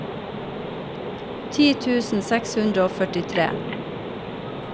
ti tusen seks hundre og førtifire